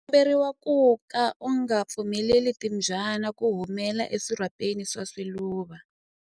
U komberiwa ku ka u nga pfumeleli timbyana ku humela eswirhapeni swa swiluva.